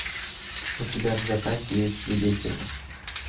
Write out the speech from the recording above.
у тебя в запасе есть свидетели